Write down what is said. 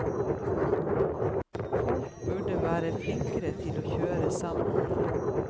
Folk burde være flinkere til å kjøre sammen.